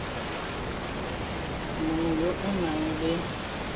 mongwe yo o nang le